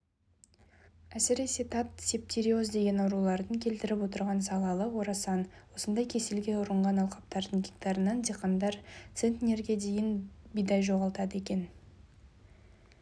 әсіресе тат септериоз деген аурулардың келтіріп отырған залалы орасан осындай кеселге ұрынған алқаптардың гектарынан диқандар центнерге дейін бидай жоғалтады екен